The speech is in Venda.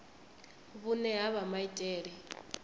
vhune ha vha na maitele